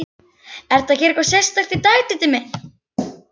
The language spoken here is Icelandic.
Ertu að gera eitthvað sérstakt, Diddi minn.